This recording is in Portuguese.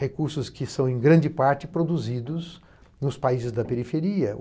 Recursos que são, em grande parte, produzidos nos países da periferia.